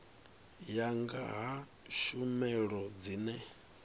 ya nga ha tshumelo dzine